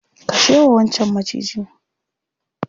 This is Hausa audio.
kashe wancan Maciji.